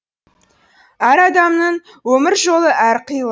әр адамның өмір жолы әр қилы